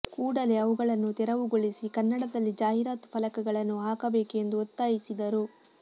ಕೂಡಲೇ ಅವುಗಳನ್ನು ತೆರವುಗೊಳಿಸಿ ಕನ್ನಡದಲ್ಲಿ ಜಾಹೀರಾತು ಫಲಕಗಳನ್ನು ಹಾಕಬೇಕು ಎಂದು ಒತ್ತಾಯಿಸಿದರು